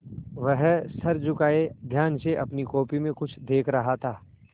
वह सर झुकाये ध्यान से अपनी कॉपी में कुछ देख रहा था